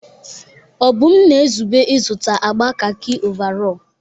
Obum na-ezube ịzụta agba kakị ọvarọọr.